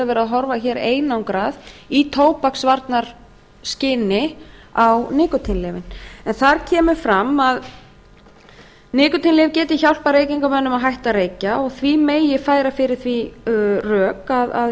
er verið að horfa hér einangrað í tóbaksvarnaskyni á nikótínlyfin þar kemur fram að nikótínlyf geti hjálpað reykingamönnum að hætta að reykja og því megi færa fyrir því rök að